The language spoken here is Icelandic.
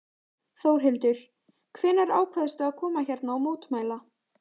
Þórhildur: Hvenær ákvaðstu að koma hérna og mótmæla?